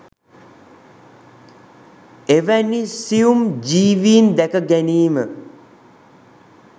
එවැනි සියුම් ජීවීන් දැක ගැනීම